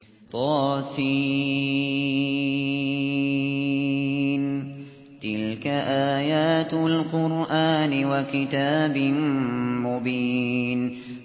طس ۚ تِلْكَ آيَاتُ الْقُرْآنِ وَكِتَابٍ مُّبِينٍ